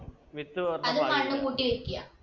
വിത്ത്